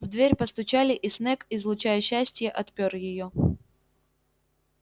в дверь постучали и снегг излучая счастье отпер её